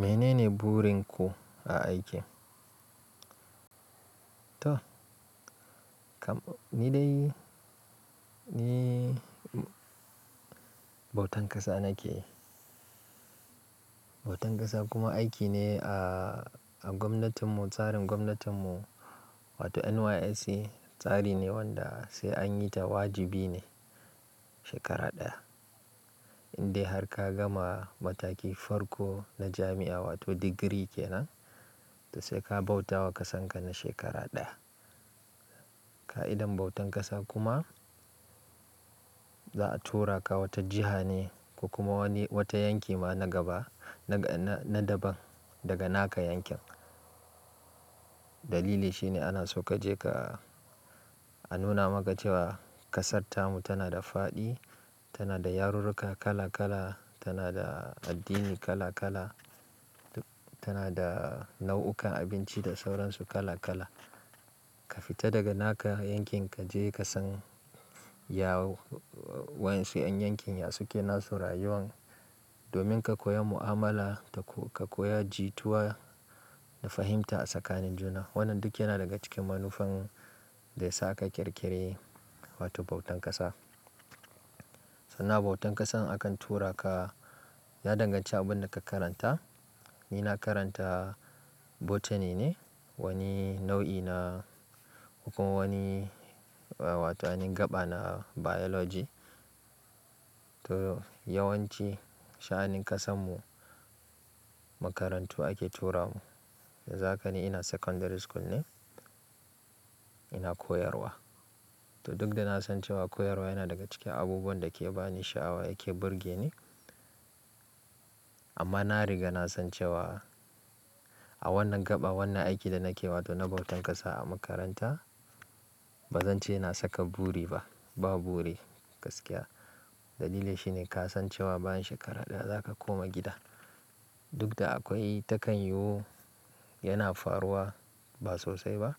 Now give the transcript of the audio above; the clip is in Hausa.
Mene ne burin ku a aiki? To, kam ni dai ni bautan ƙasa nake. Bautan ƙasa kuma aiki ne a, a gwamnatin mu, tsarin gwamnatin mu wato NYSC tsari ne wanda sai an yi ta wajibi ne shekara ɗaya. Indai har ka gama matakin farko na jami'a wato degree ke nan, to sai ka bauta wa ƙasanka na shekara ɗaya. Ka'idar bautan ƙasa kuma za a tura ka wata jiha ne ko kuma wani, wata yanki ma na gaba, na, na, na daban daga naka yankin. Dalili shi ne ana so ka je ka a nuna maka cewa ƙasarta mu tana da faɗi, tana da yarurruka kala kala, tana da addini kala kala, tana da nau'ukan abinci da sauransu kala kala. Ka fita daga naka yankin ka je ka san ya, wa ƴansu 'yan yankin ya suke nasu rayuwan domin ka koya mu'amala da kuma ka koya jituwa da fahimta a tsakanin juna. Wannan duk yana daga cikin manufan da yasa aka ƙirƙiri wato bautan ƙasa. Sannan abautan ƙasan akan tura ka ya danganci abin da ka karanta. Ni na karanta botany ne, wani nau'i na kuma wani ee wato aini hin gaɓa na biology. To yawanci sha'anin ƙasan mu makarantu ake tura mu. Yanzu haka ni ina secondary school ne ina koyarwa. To duk da na san cewa koyarwa yana daga cikin abubuwan da ke ba ni sha'awa yake burge ni amma na riga na san cewa a wannan gaɓa, wannan aiki da nake wato na bautan ƙasa a makaranta ba zan ce na saka buri ba. Ba buri gaskiya. Dalili shi ne ka san cewa bayan shekara ɗaya zaka koma gida. Duk da akwai ta kan yiwu yana faruwa ba sosai ba.